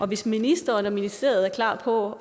hvis ministeren og ministeriet er klar på